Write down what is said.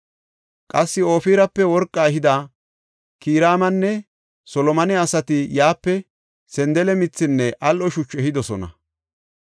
Qassi Ofirape worqa ehida Kiraamanne Solomone asati yaape sandale mithinne al7o shuchu ehidosona.